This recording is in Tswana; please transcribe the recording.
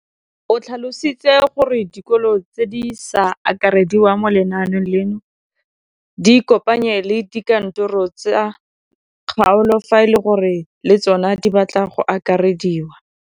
O tlhalositse gore dikolo tse di sa akarediwang mo lenaaneng leno di ikopanye le dikantoro tsa kgaolo fa e le gore le tsona di batla go akarediwa.